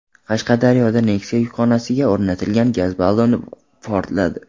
Qashqadaryoda Nexia yukxonasiga o‘rnatilgan gaz balloni portladi.